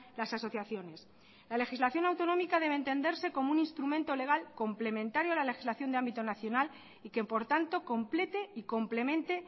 las asociaciones la legislación autonómica debe entenderse como un instrumento legal complementario a la legislación de ámbito nacional y que por tanto complete y complemente